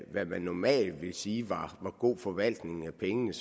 hvad man normalt ville sige var god forvaltning af pengene